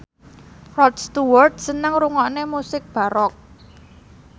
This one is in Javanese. Rod Stewart seneng ngrungokne musik baroque